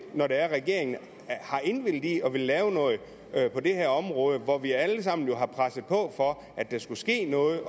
når regeringen har indvilliget i at ville lave noget på det her område hvor vi alle sammen har presset på for at der skulle ske noget